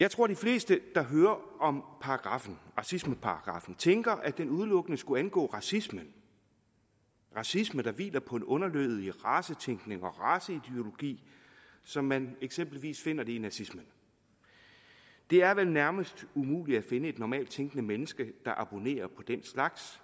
jeg tror de fleste der hører om paragraffen racismeparagraffen tænker at den udelukkende skulle angå racisme racisme der hviler på en underlødig racetænkning og raceideologi som man eksempelvis finder det i nazismen det er vel nærmest umuligt at finde et normalt tænkende menneske der abonnerer på den slags